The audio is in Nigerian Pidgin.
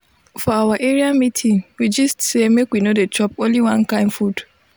for our area meeting we gist say make we no dey chop only one kind food.